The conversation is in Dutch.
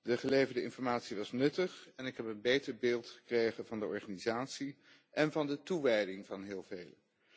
De geleverde informatie was nuttig en ik heb een beter beeld gekregen van de organisatie en van de toewijding van heel velen.